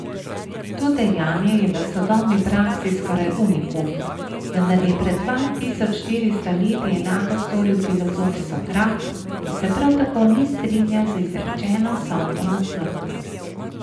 To dejanje je v sodobni praksi skoraj unikum, vendar je pred dva tisoč štiristo leti enako storil filozof Sokrat, ki se prav tako ni strinjal z izrečeno sodbo na smrt.